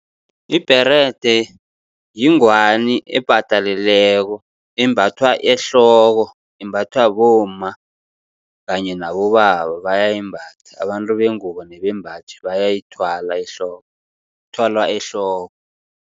Ibherede yingwani epataleleko embathwa ehloko, imbathwa bomma kanye nabobaba bayayimbatha. Abantu bengubo nebembaji bayayithwala ehloko ithwalwa ehloko.